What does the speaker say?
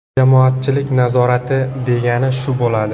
Jamoatchilik nazorati degani shu bo‘ladi.